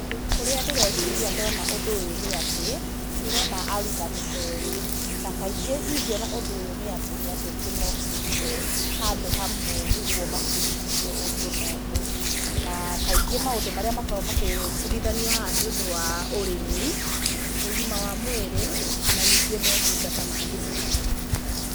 Ũrĩa ndĩreciria ndona ũndũ ũyũ nĩ atĩ, ndĩrona arutani erĩ, na kaingĩ ingĩona ũndũ ũyũ nĩ atĩ nĩ andũ aingĩ mokĩte handũ hamwe nĩguo mabundithio ũndũ na ũndũ. Na kingĩ maũndũ marĩa makoragwo magĩbundithanio haha nĩ, ũndũ wa ũrĩmi, ũgima wa mwĩrĩ, na ningĩ motungata ma thirikari.